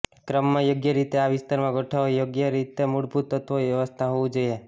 ક્રમમાં યોગ્ય રીતે આ વિસ્તારમાં ગોઠવવા યોગ્ય રીતે મૂળભૂત તત્વો વ્યવસ્થા હોવું જોઈએ